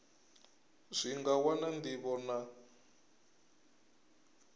zwi nga wana ndivho na